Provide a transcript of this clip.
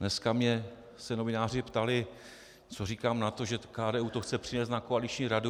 Dneska se mě novináři ptali, co říkám na to, že KDU to chce přinést na koaliční radu.